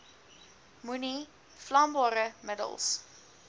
moenie vlambare middels